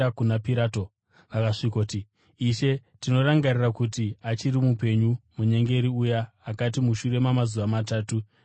Vakasvikoti, “Ishe, tinorangarira kuti achiri mupenyu, munyengeri uya akati, ‘Mushure mamazuva matatu, ndichamukazve.’